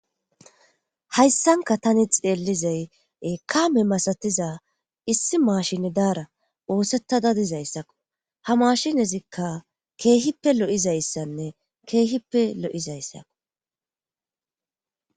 hayssanka tani xeellizay ekame masatiza issi maashine daara oosettada dizayssakko ha maashinezikka keehippe lo7izayssanne keehippe lo7izayssakko